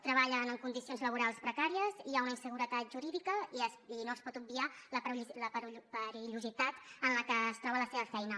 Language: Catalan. treballen en condicions laborals precàries hi ha una inseguretat jurídica i no es pot obviar la perillositat que troben en la seva feina